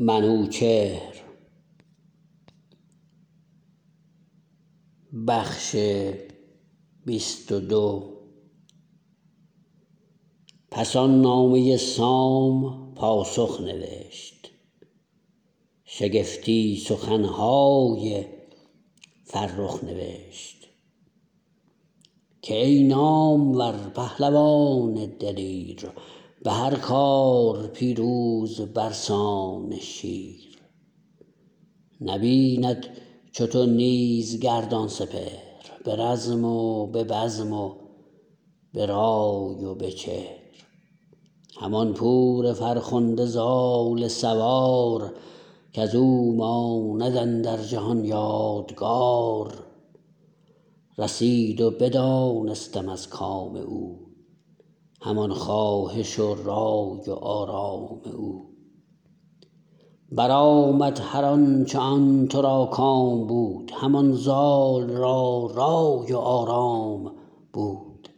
پس آن نامه سام پاسخ نوشت شگفتی سخنهای فرخ نوشت که ای نامور پهلوان دلیر به هر کار پیروز برسان شیر نبیند چو تو نیز گردان سپهر به رزم و به بزم و به رای و به چهر همان پور فرخنده زال سوار کزو ماند اندر جهان یادگار رسید و بدانستم از کام او همان خواهش و رای و آرام او برآمد هر آنچ آن ترا کام بود همان زال را رای و آرام بود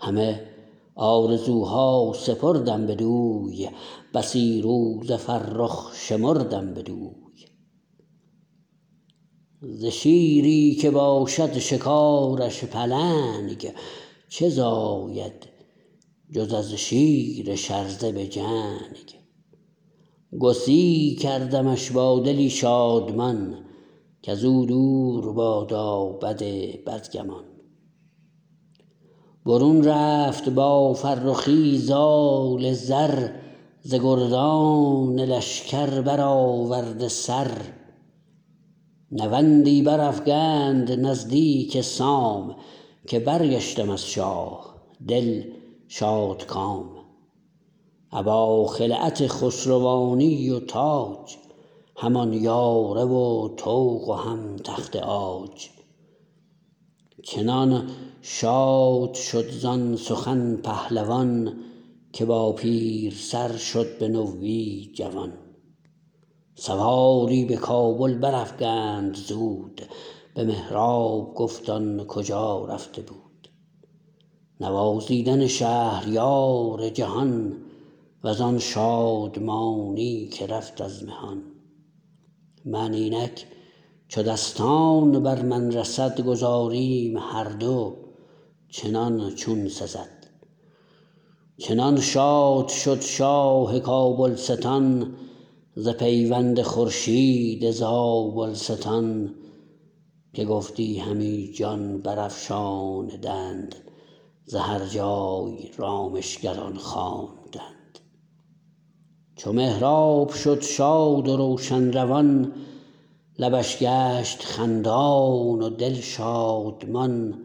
همه آرزوها سپردم بدوی بسی روز فرخ شمردم بدوی ز شیری که باشد شکارش پلنگ چه زاید جز از شیر شرزه به جنگ گسی کردمش با دلی شادمان کزو دور بادا بد بدگمان برون رفت با فرخی زال زر ز گردان لشکر برآورده سر نوندی برافگند نزدیک سام که برگشتم از شاه دل شادکام ابا خلعت خسروانی و تاج همان یاره و طوق و هم تخت عاج چنان شاد شد زان سخن پهلوان که با پیر سر شد به نوی جوان سواری به کابل برافگند زود به مهراب گفت آن کجا رفته بود نوازیدن شهریار جهان وزان شادمانی که رفت از مهان من اینک چو دستان بر من رسد گذاریم هر دو چنان چون سزد چنان شاد شد شاه کابلستان ز پیوند خورشید زابلستان که گفتی همی جان برافشاندند ز هر جای رامشگران خواندند چو مهراب شد شاد و روشن روان لبش گشت خندان و دل شادمان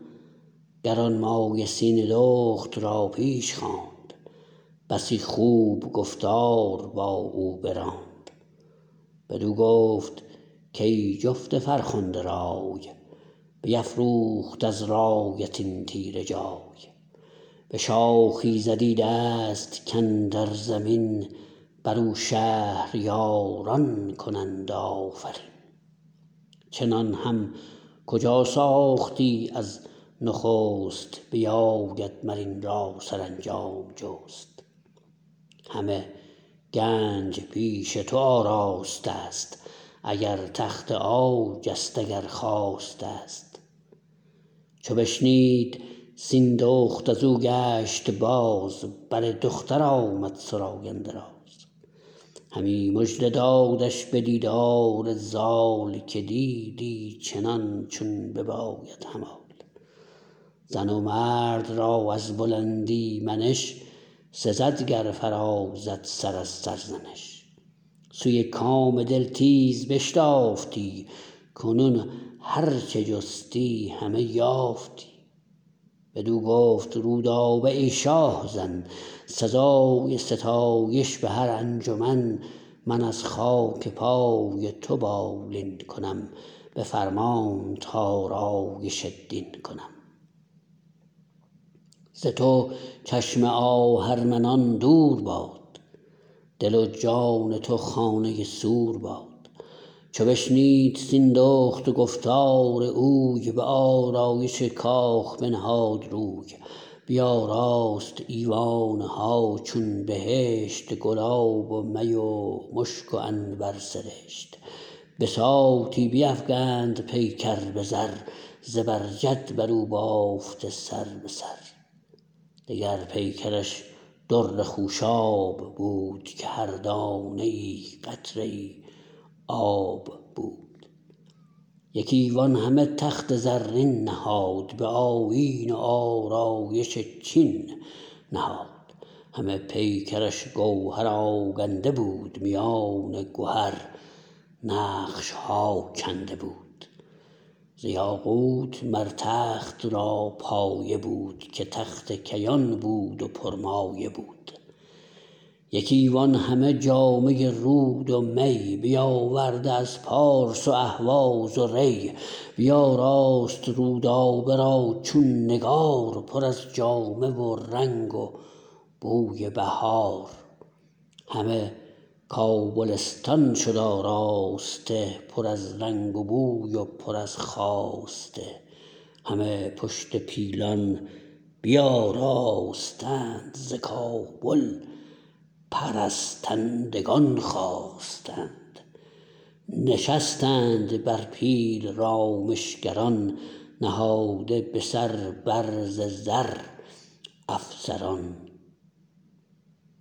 گرانمایه سیندخت را پیش خواند بسی خوب گفتار با او براند بدو گفت کای جفت فرخنده رای بیفروخت از رایت این تیره جای به شاخی زدی دست کاندر زمین برو شهریاران کنند آفرین چنان هم کجا ساختی از نخست بیاید مر این را سرانجام جست همه گنج پیش تو آراستست اگر تخت عاجست اگر خواستست چو بشنید سیندخت ازو گشت باز بر دختر آمد سراینده راز همی مژده دادش به دیدار زال که دیدی چنان چون بباید همال زن و مرد را از بلندی منش سزد گر فرازد سر از سرزنش سوی کام دل تیز بشتافتی کنون هر چه جستی همه یافتی بدو گفت رودابه ای شاه زن سزای ستایش به هر انجمن من از خاک پای تو بالین کنم به فرمانت آرایش دین کنم ز تو چشم آهرمنان دور باد دل و جان تو خانه سور باد چو بشنید سیندخت گفتار اوی به آرایش کاخ بنهاد روی بیاراست ایوانها چون بهشت گلاب و می و مشک و عنبر سرشت بساطی بیفگند پیکر به زر زبر جد برو بافته سر به سر دگر پیکرش در خوشاب بود که هر دانه ای قطره ای آب بود یک ایوان همه تخت زرین نهاد به آیین و آرایش چین نهاد همه پیکرش گوهر آگنده بود میان گهر نقشها کنده بود ز یاقوت مر تخت را پایه بود که تخت کیان بود و پرمایه بود یک ایوان همه جامه رود و می بیاورده از پارس و اهواز و ری بیاراست رودابه را چون نگار پر از جامه و رنگ و بوی بهار همه کابلستان شد آراسته پر از رنگ و بوی و پر از خواسته همه پشت پیلان بیاراستند ز کابل پرستندگان خواستند نشستند بر پیل رامشگران نهاده به سر بر زر افسران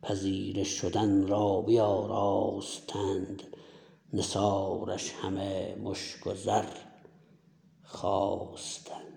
پذیره شدن را بیاراستند نثارش همه مشک و زر خواستند